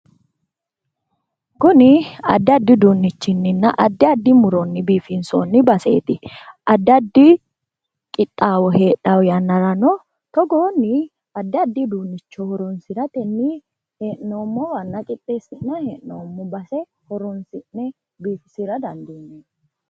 kunni addi addi uudunichinninna addi addi muuronni bifinsooni baseeti. Addi addi qixxaawo hedhawo yannarano togoonni addi addi addi addi uduunnicho horoonsirattenni hee'noommowanna qixxesi'nayi hee'noommo base horoosi'ne biifisira danidiineemmo